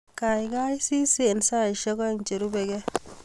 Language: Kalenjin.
Kaikai sis eng saishek aeng cherubeke